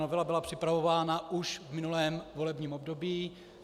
Novela byla připravována už v minulém volebním období.